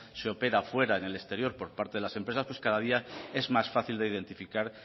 se opera fuera en el exterior por parte de las empresas pues cada día es más fácil de identificar